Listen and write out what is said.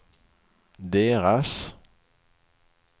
deras